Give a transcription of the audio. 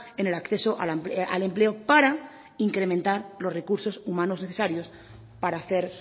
en el acceso al empleo para incrementar los recursos humanos necesarios para hacer